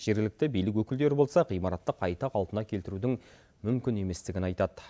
жергілікті билік өкілдері болса ғимаратты қайта қалпына келтірудің мүмкін еместігін айтады